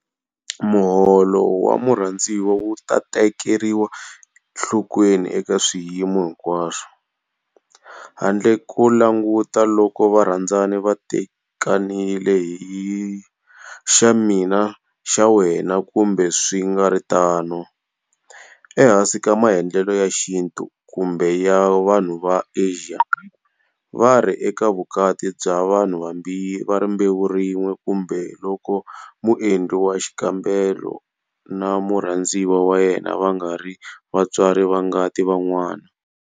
Muholo wa murhandziwa wu ta tekeriwa nhlokweni eka swiyimo hinkwaswo, handle ko languta loko varhandzani va tekanile hi xa mina xa wena kumbe swi nga ri tano, ehansi ka maendlelo ya xintu kumbe ya vanhu va Asia, va ri eka vukati bya vanhu va rimbewu rin'we kumbe loko muendli wa xikambelo na murhandziwa wa yena va nga ri vatswari va ngati va n'wana.